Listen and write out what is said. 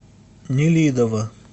нелидово